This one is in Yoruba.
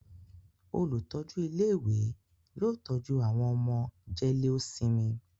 Olùtọ́jú ilé-ìwé yóò tọ́jú àwọn ọmọ jẹ́léósinmi.